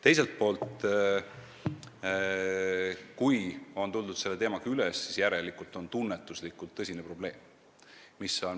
Teiselt poolt, kui on see teema tõstatatud, siis järelikult on siin tunnetuslikult tõsine probleem.